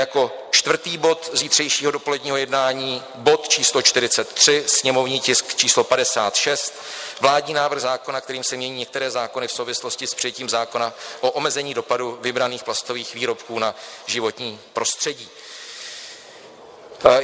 Jako čtvrtý bod zítřejšího dopoledního jednání bod číslo 43, sněmovní tisk číslo 56, Vládní návrh zákona, kterým se mění některé zákony v souvislosti s přijetím zákona o omezení dopadu vybraných plastových výrobků na životní prostředí.